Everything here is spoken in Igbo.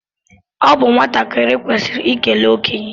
Ọ bụ nwatakịrị kwesịrị ikele okenye